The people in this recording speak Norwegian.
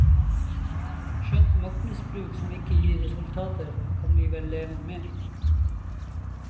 Skjønt maktmisbruk som ikke gir resultater, kan vi vel leve med.